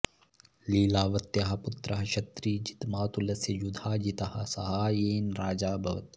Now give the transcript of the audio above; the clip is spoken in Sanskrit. लीलावत्याः पुत्रः शतृजित् मातुलस्य युधाजितः साहाय्येन राजा अभवत्